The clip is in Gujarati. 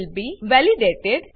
will be validated